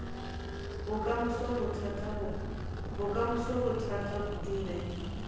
bokamoso go thata kudu ge